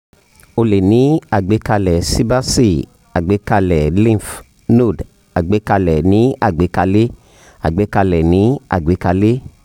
o lè ní àgbékalẹ̀ síbáàsì àgbékalẹ̀ lymph node àgbékalẹ̀ ní àgbékalé àgbékalẹ̀ ní àgbékalé